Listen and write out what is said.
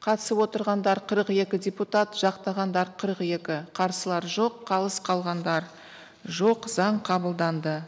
қатысып отырғандар қырық екі депутат жақтағандар қырық екі қарсылар жоқ қалыс қалғандар жоқ заң қабылданды